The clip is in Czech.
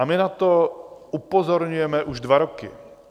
A my na to upozorňujeme už dva roky.